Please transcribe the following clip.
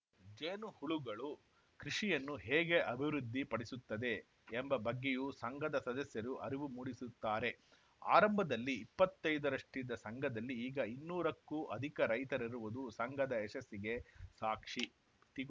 ಜೇನು ಹುಳಗಳು ಕೃಷಿಯನ್ನು ಹೇಗೆ ಅಭಿವೃದ್ಧಿ ಪಡಿಸುತ್ತದೆ ಎಂಬ ಬಗ್ಗೆಯೂ ಸಂಘದ ಸದಸ್ಯರು ಅರಿವು ಮೂಡಿಸುತ್ತಾರೆ ಆರಂಭದಲ್ಲಿ ಇಪ್ಪತ್ತೈದರಷ್ಟಿದ್ದ ಸಂಘದಲ್ಲಿ ಈಗ ಇನ್ನೂರಕ್ಕೂ ಅಧಿಕ ರೈತರಿರುವುದು ಸಂಘದ ಯಶಸ್ಸಿಗೆ ಸಾಕ್ಷಿ